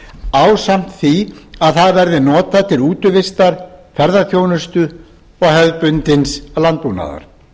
ásamt því að það verði notað til útivistar ferðaþjónustu og hefðbundins landbúnaðar